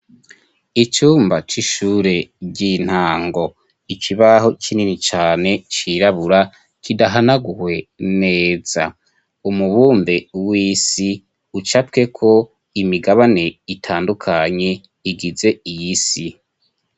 Icumba c'ishure ry'intango ikibaho kinini cane cirabura kidahanaguwe neza umubumbe wisi ucapweko imigabane itandukanye igize iyisi.